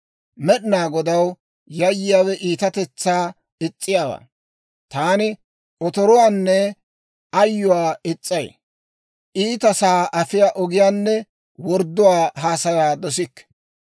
Med'inaa Godaw yayyiyaawe iitatetsaa is's'iyaawaa; taani otoruwaanne ayyuwaa is's'ay; iitasaa afiyaa ogiyaanne wordduwaa haasayaa dosikke.